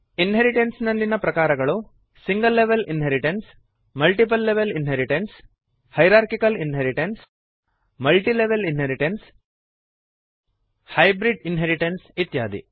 inheritance ನಲ್ಲಿಯ ಪ್ರಕಾರಗಳು single level inheritance multiple level inheritance hierarchical inheritance multilevel inheritance hybrid inheritance ಇತ್ಯಾದಿ